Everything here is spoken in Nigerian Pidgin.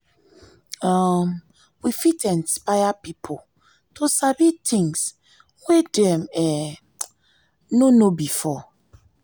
um we fit isnpire pipo to sabi things wey dem um no know before